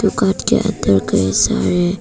दुकान के अंदर का यह सारे--